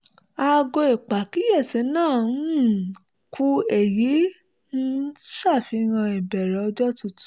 aago ìpàkíyèsí náa um kú èyí ń ṣàfihàn ìbẹ̀rẹ̀ ọjọ́ tuntun